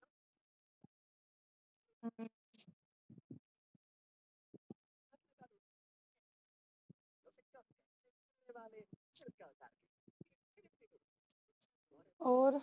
ਹੋਰ